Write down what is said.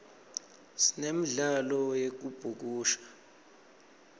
sinemdlalo yekubhukusha